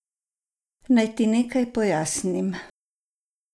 Naj ti nekaj pojasnim.